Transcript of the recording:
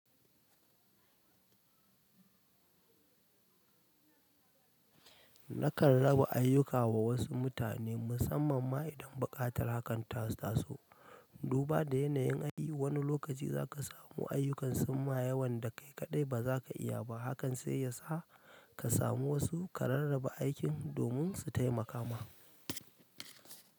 Nakan raba ayyuka wa wasu mutane musamman ma idan buƙatar hakan ta taso. Duba da yanayin aiki, wani lokaci za ka samu ayyukan summa yawan da kai kaɗai ba za ka iya ba. Hakan sai yasa ka samu wasu ka rarraba aikin domin su taimaka ma.